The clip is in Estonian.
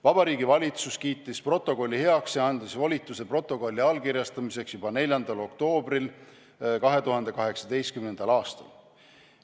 Vabariigi Valitsus kiitis protokolli heaks ja andis volituse protokolli allkirjastamiseks juba 4. oktoobril 2018. aastal.